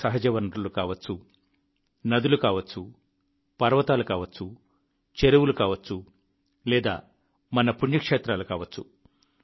మన సహజ వనరులు కావచ్చు నదులు కావచ్చు పర్వతాలు కావచ్చు చెరువులు కావచ్చు లేదా మన పుణ్యక్షేత్రాలు కావచ్చు